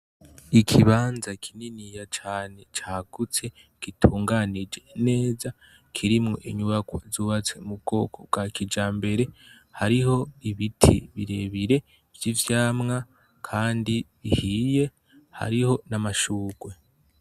Ikibanza kininiya cane cagutse gutunganije neza kirimwo inyubakwa zubatswe mubwoko bwa kijambere hariho ibiti birebire vyivyamwa kandi ahiye kandi hariho amashurwe